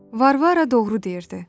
Varvara doğru deyirdi.